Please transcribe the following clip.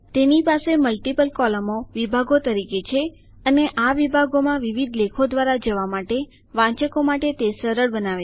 તેની પાસે મલ્ટીપલ કૉલમો વિભાગો તરીકે છે અને આ વિભાગોમાં વિવિધ લેખો દ્વારા જવા માટે વાંચકો માટે તે સરળ બનાવે છે